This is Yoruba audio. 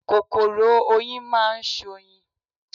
Kòkòrò oyin máa ṣoyin.